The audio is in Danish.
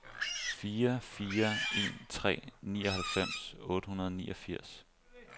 fire fire en tre nioghalvfems otte hundrede og niogfirs